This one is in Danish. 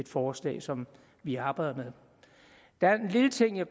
forslag som vi arbejder med der er en lille ting jeg